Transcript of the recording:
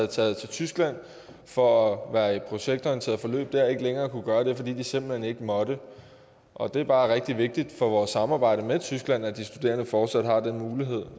taget til tyskland for at være i et projektorienteret forløb der ikke længere kunne være det fordi de simpelt hen ikke måtte og det er bare rigtig vigtigt for vores samarbejde med tyskland at de studerende fortsat har den mulighed